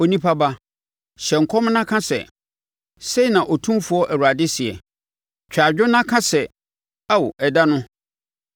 “Onipa ba, hyɛ nkɔm na ka sɛ: ‘Sei na Otumfoɔ Awurade seɛ: “ ‘Twa adwo na ka sɛ, “Ao ɛda no!”